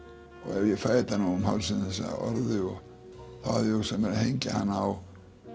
ef ég fæ þetta nú um hálsinn þessa orðu þá hafði ég hugsað mér að hengja hana á